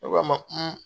Ne k'a ma